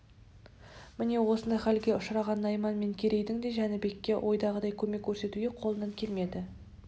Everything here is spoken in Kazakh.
міне осындай халге ұшыраған найман мен керейдің де жәнібекке ойдағыдай көмек көрсету қолынан келмеді